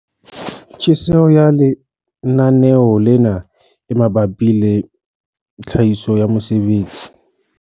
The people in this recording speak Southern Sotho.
Tjhesehelo ya lenaneo lena e mabapi le tlhahiso ya mesebetsi